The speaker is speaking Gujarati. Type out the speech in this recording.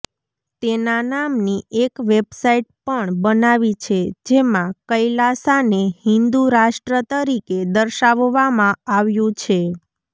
તેના નામની એક વેબસાઇટ પણ બનાવી છે જેમાં કૈલાશાને હિન્દુ રાષ્ટ્ર તરીકે દર્શાવવામાં આવ્યું છે